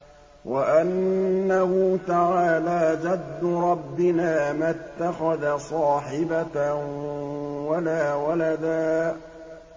وَأَنَّهُ تَعَالَىٰ جَدُّ رَبِّنَا مَا اتَّخَذَ صَاحِبَةً وَلَا وَلَدًا